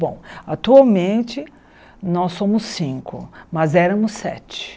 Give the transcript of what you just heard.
Bom, atualmente, nós somos cinco, mas éramos sete.